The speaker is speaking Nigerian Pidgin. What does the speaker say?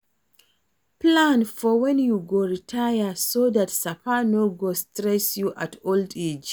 Plan for when you go retire, so dat sapa no go stress you at old age